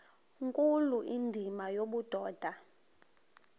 nkulu indima yobudoda